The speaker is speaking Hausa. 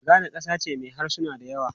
Ghana kasa ce mai harsuna da yawa.